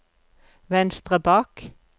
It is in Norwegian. venstre bak